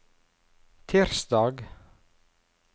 tirsdag